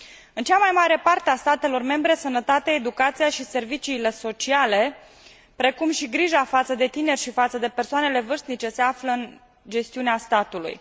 În cea mai mare parte a statelor membre, sănătatea, educația și serviciile sociale, precum și grija față de tineri și față de persoanele vârstnice se află în gestiunea statului.